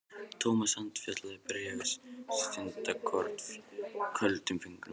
Thomas handfjatlaði bréfið stundarkorn, köldum fingrum.